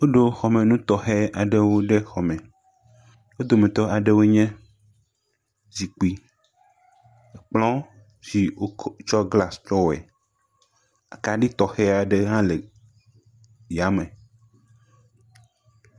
Woɖo xɔmenu tɔxɛ aɖewo ɖe xɔ me, wo dometɔ aɖewoe nye zikpui, kplɔ si wotsɔ glas tsɔ wɔe, akaɖi tɔxɛ aɖe hã le ya me.